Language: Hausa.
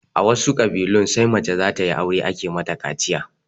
A wasu ƙabilun sai mace zatayi aure ake mata kaciya